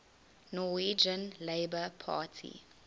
norwegian labour party